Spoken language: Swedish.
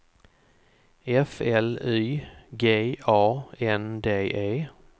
F L Y G A N D E